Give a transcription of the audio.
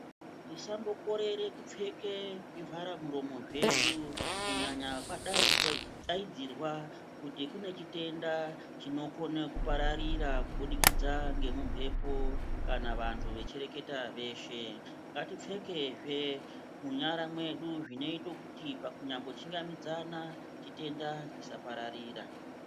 Tisambokorere kupfeke zvivhara muromo zvedu kunyanya tadaidzirwa kuti kune chitenda chinokone kupararira kubudikidza ngemumhepo kana vantu vechireketa veshe , ngatipfekezve munyara medu zvinoite kuti pakunyambochingamidzana chitenda chisapararira.